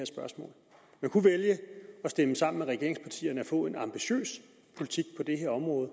spørgsmål man kunne vælge at stemme sammen med regeringspartierne og få en ambitiøs politik på det her område